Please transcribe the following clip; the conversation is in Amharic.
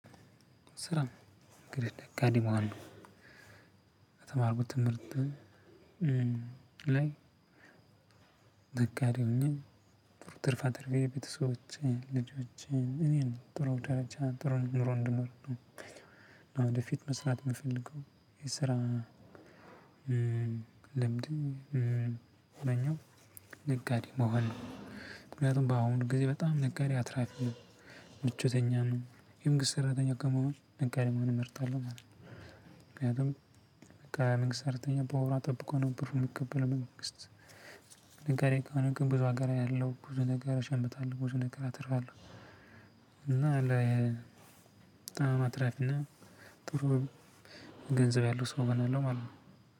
ስራ እንግዲህ ነጋዴ መሆኑ የተማርኩት ትምህርት ላይ ነጋዴ ሆኜ ብር ትርፍ አትርፌ ቤተሰቦቼ ልጆቼ እኔን ጥሩ ደረጃ ጥሩ ኑሮ እንድኖር ነው። አሁን ወደፊት መስራት የምፈልገው የስራ ልምድ ው ነጋዴ መሆን ነው። ምክንያቱም በአሁኑ ጊዜ በጣም ነጋዴ አትራፊ ነው ምቾተኛ ነው። የመንግስት ስራተኛ ከመሆን ነጋዴ መሆን እመርጣለሁ። ምክንያቱም በቃ መንግስት ሰራተኛ በወሯ ጠብቆ ነው ብር ሚቀበለው በመንግስት ነጋዴ ከሆነ ግን ብዙ ሀገር አያለው ብዙ ነገር እሸምታለው፣ ብዙ ነገር አተርፋለው እና በጣም አትራፊና ጥሩ ገንዘብ ያለው ሰው እሆናለው ማለት ነው።